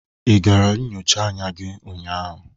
Ị gara nyocha anya ụnyaahụ?